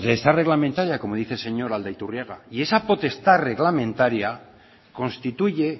potestad reglamentaria como dice el señor aldaiturriaga y esa potestad reglamentaria constituye